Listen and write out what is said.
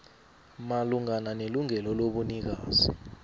malungana nelungelo lobunikazi